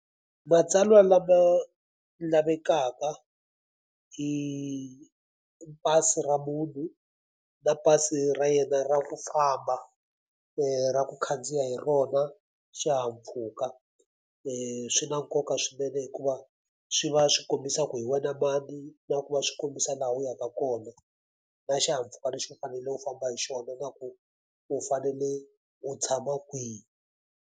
Matsalwa lama lavekaka i pasi ra munhu, na pasi ra yena ra ku famba ra ku khandziya hi rona xihahampfhuka. Swi na nkoka swinene hikuva swi va swi kombisa ku hi wena mani, na ku va swi kombisa laha u yaka kona. Na xihahampfhuka lexi u fanele u famba hi xona na ku u fanele u tshama kwihi.